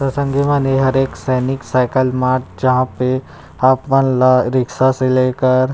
त संगी मन ए हरे एक सैनिक साइकिल मार्ट जहाँ पे आप मन ला रिक्शा से लेकर --